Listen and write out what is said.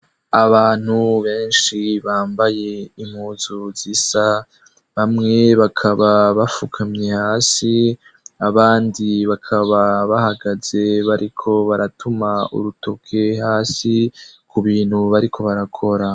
Abantu benshi bambaye impuzu zisa, bamwe bakaba bafukamye hasi abandi bakaba bahagaze bariko baratuma urutoke hasi ku bintu bariko barakora.